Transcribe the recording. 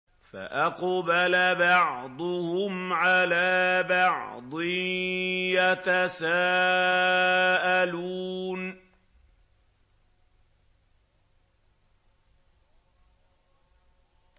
فَأَقْبَلَ بَعْضُهُمْ عَلَىٰ بَعْضٍ يَتَسَاءَلُونَ